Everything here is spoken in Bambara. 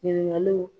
Ɲininkaliw